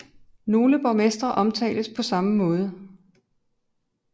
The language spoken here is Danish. Nogle borgmestre omtales på samme måde